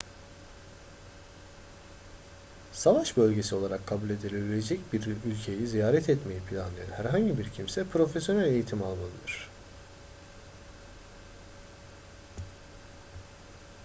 savaş bölgesi olarak kabul edilebilecek bir ülkeyi ziyaret etmeyi planlayan herhangi bir kimse profesyonel eğitim almalıdır